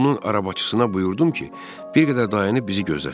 Onun arabacısına buyurdum ki, bir qədər dayanıb bizi gözləsin.